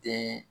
Den